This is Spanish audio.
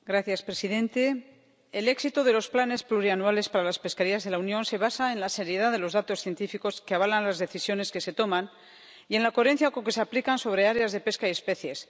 Señor presidente, el éxito de los planes plurianuales para las pesquerías en la Unión se basa en la seriedad de los datos científicos que avalan las decisiones que se toman y en la coherencia con que se aplican sobre áreas de pesca y especies.